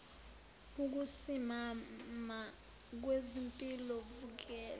ukusimama kwezimpilo kuvela